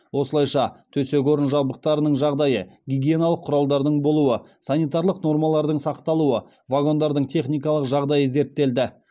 осылайша төсек орын жабдықтарының жағдайы гигиеналық құралдардың болуы санитарлық нормалардың сақталуы вагондардың техникалық жағдайы зерттелді